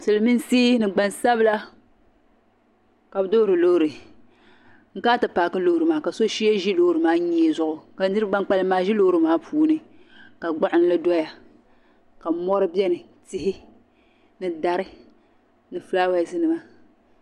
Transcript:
Silimiinsi ni gban sabila ka bɛ duhiri lɔɔri ka shee ʒi lɔɔri maa nyee zuɣu, ka niribi ban kpalim maa ʒi lɔɔri maa puuni ka gbuɣinli doya ka mɔri beni tihi ni dari ni flawese nima